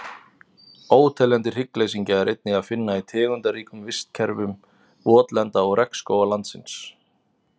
Óteljandi hryggleysingja er einnig að finna í tegundaríkum vistkerfum votlenda og regnskóga landsins.